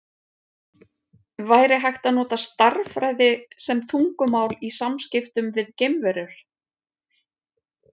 Væri hægt að nota stærðfræði sem tungumál í samskiptum við geimverur?